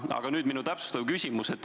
Aga nüüd minu täpsustav küsimus.